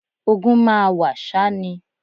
Ogun máa wà ṣá ni